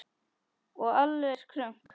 Og alveg krunk!